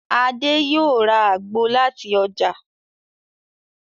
Adé yóò ra àgbo làti ọjà.